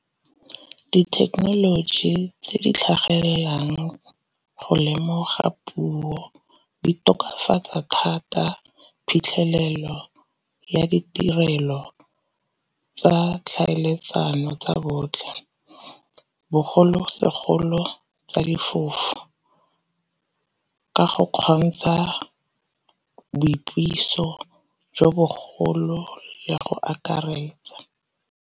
Dithekenoloji tse di tlhagelelang go lemoga puo di tokafatsa thata phitlhelelo ya ditirelo tsa tlhaeletsano tsa botlhe, bogolosegolo tsa difofu ka go kgontsha boipuiso jo bogolo le go akaretsa.